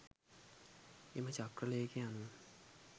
එම චක්‍රලේඛය අනුව